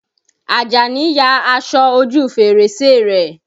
Àjàní ya aṣọ ojú fèrèsé rẹ̀.